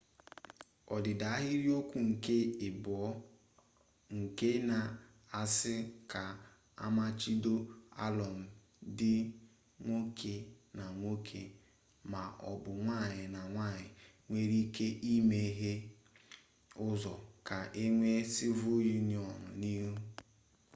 odida ahiriokwu nke abuo nke na-asi ka amachibido alum di nwoke na nwoke ma o bu nwanyi na nwanyi nwere ike imeghe uzo ka enwe civil union n'ihu